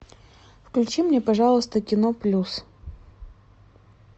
включи мне пожалуйста кино плюс